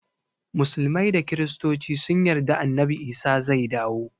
Musulmai da kristoci sun yarda annabi isa zai dawo